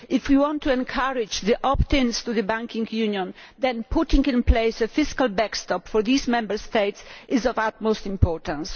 If we want to encourage opt ins to the Banking Union, then putting in place a fiscal backstop for these Member States is of the utmost importance.